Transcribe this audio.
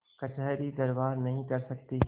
कचहरीदरबार नहीं कर सकती